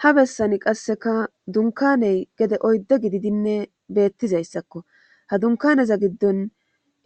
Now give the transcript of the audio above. ha bessani qasseka dunkaney gede oydde gididinne beettizayssakko ha dunkaneza giddon